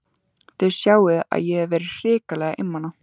Þið sjáið að ég hef verið hrikalega einmana!